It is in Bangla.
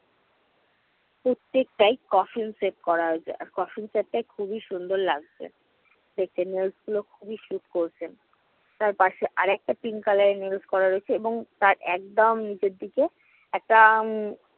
প্রত্যেকটায় cofine set করা রয়েছে, আর cofine set টা খুবই সুন্দর লাগছে। set এর nails গুলো খুবই sooth করছে। তার পাশে আরেকটা pin color এর nails করা রয়েছে, এবং তার একদম নিচের দিকে একটা